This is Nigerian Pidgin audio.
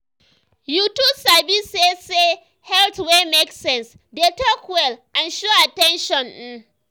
you too sabi say say health wey make sense dey talk well and show at ten tion. um